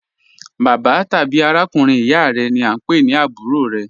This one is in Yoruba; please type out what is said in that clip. Bàbạ́ tàbí àràkùnrin ìyá rẹ ni a ń pẹ̀ ní àbúrò rẹ.